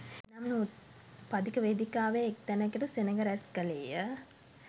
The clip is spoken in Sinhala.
පදික වේදිකාවේ එක් තැනකට සෙනඟ රැස් කළේය